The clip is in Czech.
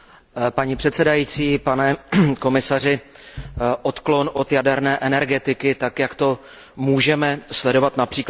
Paní předsedající, pane komisaři, odklon od jaderné energetiky, tak jak to můžeme sledovat např.